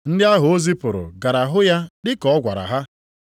Ndị ahụ o zipụrụ gara hụ ya dị ka ọ gwara ha.